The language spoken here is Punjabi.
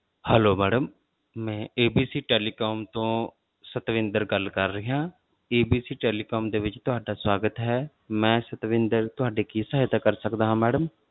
Hello madam ਮੈਂ ABC telecom ਤੋਂ ਸਤਵਿੰਦਰ ਗੱਲ ਕਰ ਰਿਹਾ ਹਾਂ ABC telecom ਦੇ ਵਿੱਚ ਤੁਹਾਡਾ ਸਵਾਗਤ ਹੈ, ਮੈਂ ਸਤਵਿੰਦਰ ਤੁਹਾਡੀ ਕੀ ਸਹਾਇਤਾ ਕਰ ਸਕਦਾ ਹਾਂ madam